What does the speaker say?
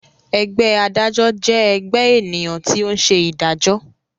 Ẹgbẹ́ adájọ́ jẹ ẹgbẹ ènìyàn tí o ń ṣe ìdájọ.